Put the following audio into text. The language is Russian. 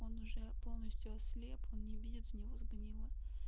он уже полностью ослеп он не видит у него сгнила